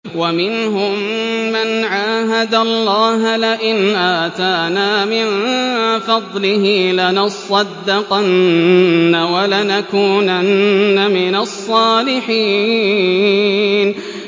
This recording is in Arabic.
۞ وَمِنْهُم مَّنْ عَاهَدَ اللَّهَ لَئِنْ آتَانَا مِن فَضْلِهِ لَنَصَّدَّقَنَّ وَلَنَكُونَنَّ مِنَ الصَّالِحِينَ